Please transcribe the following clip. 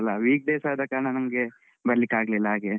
Weekdays ಆದ ಕಾರಣ ನಂಗೆ ಬರ್ಲಿಕ್ಕಾಗ್ಲಿಲ್ಲ ಹಾಗೆ.